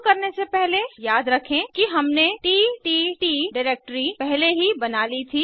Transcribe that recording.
शुरू करने से पहले याद रखें कि हमने तत् डिरेक्टरी पहले ही बना ली थी